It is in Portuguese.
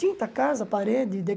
Tinta, casa, parede, dê.